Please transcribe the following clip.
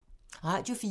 Radio 4